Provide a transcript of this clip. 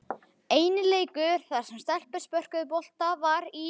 Eini leikur þar sem stelpur spörkuðu bolta var í